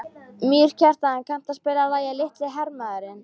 Mýrkjartan, kanntu að spila lagið „Litli hermaðurinn“?